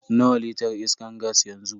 Nawa litar iskan gas yanzu?